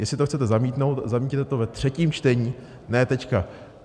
Jestli to chcete zamítnout, zamítněte to ve třetím čtení, ne teď.